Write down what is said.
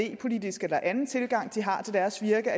idépolitisk eller anden tilgang de har til deres virke